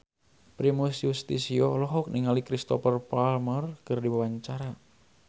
Primus Yustisio olohok ningali Cristhoper Plumer keur diwawancara